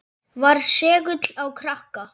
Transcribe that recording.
Var segull á krakka.